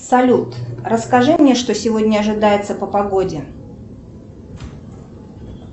салют расскажи мне что сегодня ожидается по погоде